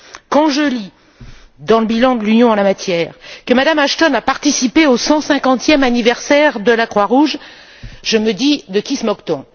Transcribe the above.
Quand je lis dans le bilan de l'Union en la matière que Mme Ashton a participé au 150e anniversaire de la Croix Rouge, je me dis de qui se moque t on?